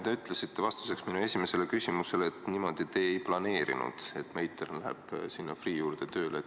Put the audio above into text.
Te ütlesite vastuseks minu esimesele küsimusele, et niimoodi te ei planeerinud, et Meitern läheb sinna Freeh' juurde tööle.